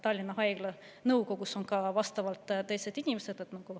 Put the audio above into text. Tallinna Haigla nõukogus on ka teised inimesed.